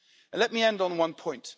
Let me end on one point.